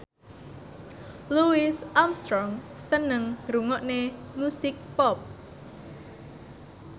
Louis Armstrong seneng ngrungokne musik pop